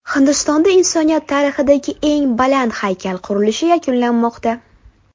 Hindistonda insoniyat tarixidagi eng baland haykal qurilishi yakunlanmoqda.